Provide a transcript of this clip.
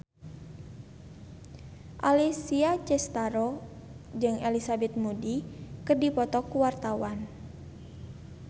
Alessia Cestaro jeung Elizabeth Moody keur dipoto ku wartawan